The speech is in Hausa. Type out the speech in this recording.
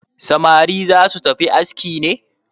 Samari za su tafi aski ne?